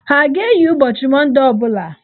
Ha a ga-eyi ụbọchị Mondee ọ bụla?